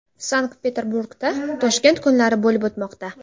Sankt-Peterburgda Toshkent kunlari bo‘lib o‘tmoqda.